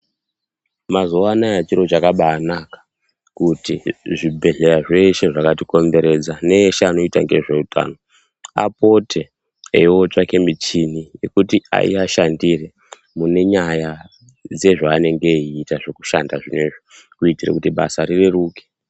Mazuva anaya zviro zvakabanaka kuti zvibhedhlera zvese zvakatikomberedza nese anoita nezvehutano apote einotsvake michini yekuti dziashandire munyaya dzezvaanenge eita zvekushanda zvinezvi kuti basa rireruke.